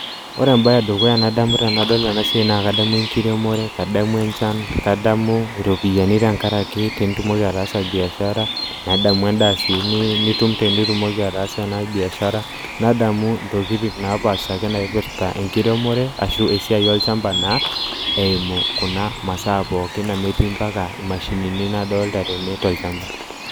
Oore embaye e dukuya nadamu tenadol eena siaia naa kadamu enkremore, kadamu enchan, kadamu iropiyiani tenkaraki tenitumoki ataasa biashara nadamu en'daa sii nitum tenitumoki ataasa eena biashara nadamu intokitin aake napaasha naipirta enkiremore, arashu esiai olchamba naa, eimu kuuna masaa pookin amuu etii mpaka imashinini nadolta teene tolchamba.